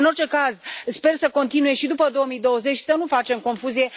În orice caz, sper să continue și după 2020, să nu facem confuzie.